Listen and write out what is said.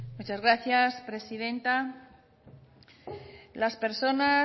muchas gracias presidenta las personas